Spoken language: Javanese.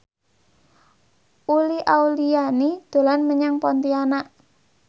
Uli Auliani dolan menyang Pontianak